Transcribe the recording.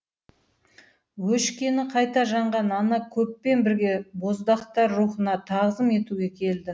өшкені қайта жанған ана көппен бірге боздақтар рухына тағзым етуге келді